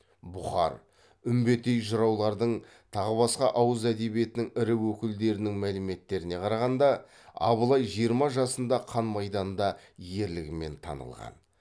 бұқар үмбетей жыраулардың тағы басқа ауыз әдебиетінің ірі өкілдерінің мәліметтеріне қарағанда абылай жиырма жасында қан майданда ерлігімен танылған